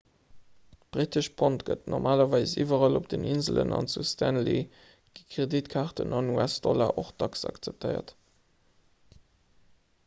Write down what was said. d'brittescht pond gëtt normalerweis iwwerall op den inselen an zu stanley gi kreditkaarten an us-dollar och dacks akzeptéiert